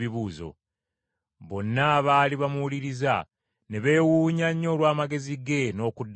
Bonna abaali bamuwuliriza ne beewuunya nnyo olw’amagezi ge n’okuddamu kwe.